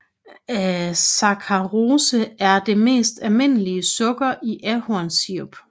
Saccharose er det mest almindelige sukker i ahornsirup